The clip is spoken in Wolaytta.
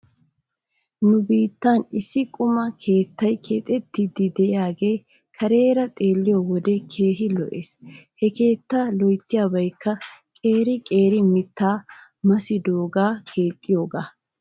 Nu biittan issi quma keettay keexettiiddi de'iyaagaa kareera xeelliyoo wode keehi lo'es. He keetta lo'ettiyaabaykka qeeri qeeri mittata massidoogan keexxiyoogaa.